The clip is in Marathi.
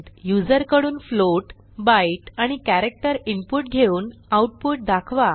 युजरकडून फ्लोट बायट आणि कॅरेक्टर इनपुट घेऊन आऊटपुट दाखवा